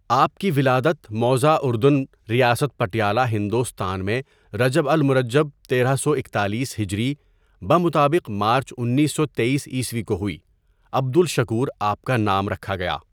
آپ کی ولادت موضع اردن ریاست پٹیالہ ہندوستان میں رجب المرجب تیرہ سو اکتالیس ھ بمطابق مارچ اُنیسو تٮٔیسء کو ہوئی، عبدالشکور آپ کا نام رکھا گیا.